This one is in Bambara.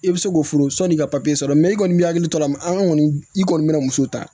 I bɛ se k'o foro sanni ka sɔrɔ i kɔni bɛ hakili to a la mɛ an kɔni i kɔni bɛ na muso ta